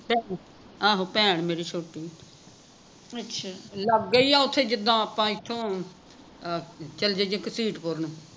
ਆਹੋ ਭੈਣ ਮੇਰੀ ਛੋਟੀ ਲਾਗੇ ਹੀ ਆ ਓਥੇ ਜਿੱਦਾਂ ਆਪਾਂ ਇਥੋਂ ਅਹ ਚੱਲ ਜਾਈਏ ਘਸੀਟਪੁਰ ਨੂੰ